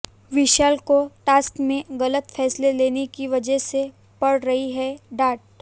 विशाल को टास्क में गलत फैसला लेने की वजह से पड़ रही है डांट